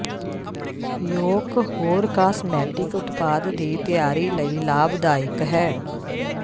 yolk ਹੋਰ cosmetic ਉਤਪਾਦ ਦੀ ਤਿਆਰੀ ਲਈ ਲਾਭਦਾਇਕ ਹੈ